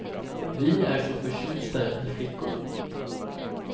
Vi är så förtjusta i flickor.